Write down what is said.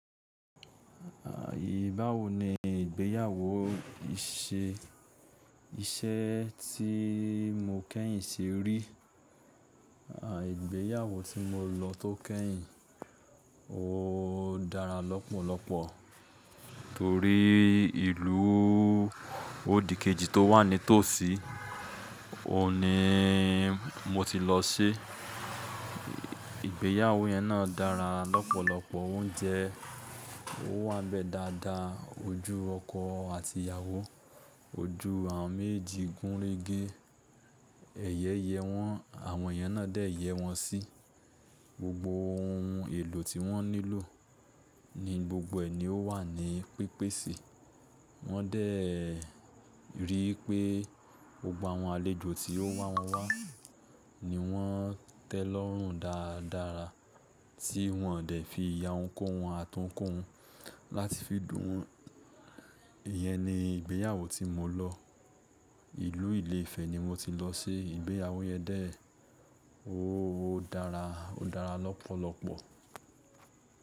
Báwo ni ìgbéyàwó ise iṣẹ́ tí mo kẹ́yìn se rí. À, ìgbéyàwó tí mo lọ tó kẹ́yìn, ó dára lọ́pọ̀lọpọ̀ torí ìlú Ódì kejì tó wà ní tòsí, òun ní mo ti lọ se. Ìgbéyàwó yẹn náà dára lọ́pọ̀lọpọ̀, oúnjẹ ó wá n bẹ dáadáa, ojú ọkọ àti ìyàwó, ojú àwọn méjì gúnrégé. Ẹyẹ yẹ wọ́n, àwọn èeyàn náà dé yẹ wọ́n sí. Gbogbo ohun èlò tí wọ́n nílò ní gbogbo ẹ̀ ní ó wà ní pípèsè. Wọ́n dẹ́ ríi pé gbogbo àwọn àlejò tí ó wá wọ́n wá ni wọ́n tẹ́ lọ́rùn dáradára, tí wọ́n dẹ́ fi ìyà ohun kóhun ati ohun kohun láti fi dùn won. Ìyẹn ni ìgbéyàwó tí mo lọ. Ìlú Ilé-Ifẹ̀ ni mo ti lọ se, ìgbéyàwó yẹn dé, ó dára, ó dára lọ́pọ̀lọpọ̀.